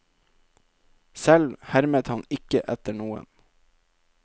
Selv hermet han ikke etter noen.